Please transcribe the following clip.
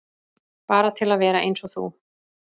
Bara til að vera eins og þú.